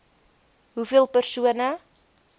ii hoeveel persone